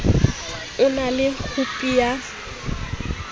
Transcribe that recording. o na le khopi ya